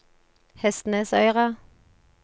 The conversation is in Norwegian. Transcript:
Hestnesøyra